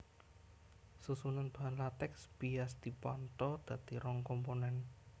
Susunan bahan latèks bias dipantha dadi rong komponen